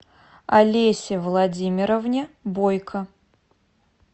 олесе владимировне бойко